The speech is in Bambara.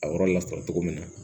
A yɔrɔ lasɔrɔ cogo min na